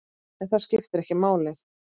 En það skiptir ekki máli.